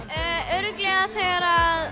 örugglega þegar